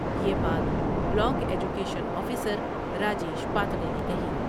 یہ بات block education officer Rajesh Pandey نے کہی ۔